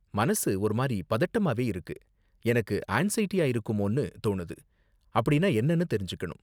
மனசு ஒரு மாதிரி பதட்டமாவே இருக்கு, எனக்கு ஆன்ஸைடியா இருக்குமோனு தோணுது, அப்படின்னா என்னனு தெரிஞ்சுக்கணும்.